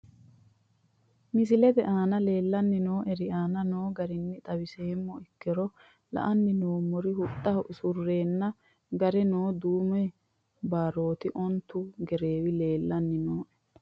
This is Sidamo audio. Misilete aana leellanni nooerre aana noo garinni xawissummo ikkiro la'anni noomorri huxxaho usureenna gare noori duumu barooti onitu gereewi leelanni nooe